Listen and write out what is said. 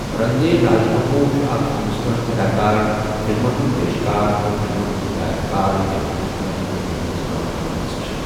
رندھیر راج كپوُر چھٗ اكھ ہِندوستٲنہِ اداكار، فِلمن ہٗند پیشكار تہِ فِلمن ہٗند ہدایتكار ییمہِ ہِندوستٲنہِ فِلمن منز كٲم كٕرمٕژ چھے٘۔